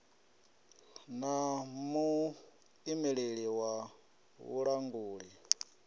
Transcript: na ḽa muimeleli wa vhulanguli